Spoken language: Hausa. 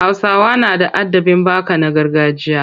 Hausawa na da adabin baka na gargajiya.